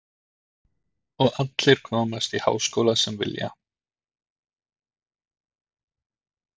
Sindri: Og allir komast í háskóla sem vilja?